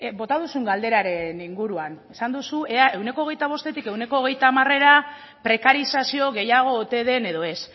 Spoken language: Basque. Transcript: bota duzun galderaren inguruan esan duzu ea ehuneko hogeita bostetik ehuneko hogeita hamarrera prekarizazio gehiago ote den edo ez